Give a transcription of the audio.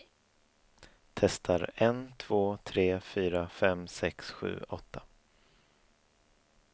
Testar en två tre fyra fem sex sju åtta.